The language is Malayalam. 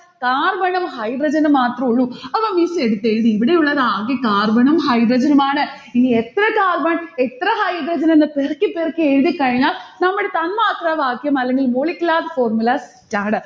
carbon ഉം hydrogen ഉം മാത്രുള്ളു. അപ്പൊ miss എടുത്തെഴുതി ഇവിടെയുള്ളത് ആകെ carbon ഉം hydrogen ഉമാണ്. ഇനി എത്ര carbon എത്ര hydrogen എന്ന് പെറുക്കി പെറുക്കി എഴുതിക്കഴിഞ്ഞാൽ നമ്മൾ തന്മാത്രവാക്യം അല്ലെങ്കിൽ molecular formula set ആണ്.